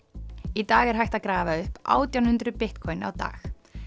í dag er hægt að grafa upp átján hundruð Bitcoin á dag